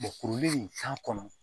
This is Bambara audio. Mɔkkuru in kan kɔnɔ